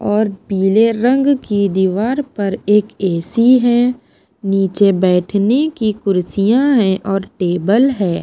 और पीले रंग की दीवार पर एक ए_ सी_ है नीचे बैठने की कुर्सियाँ हैं और टेबल है।